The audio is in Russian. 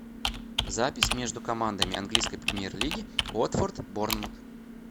запись между командами английской премьер лиги уотфорд борнмут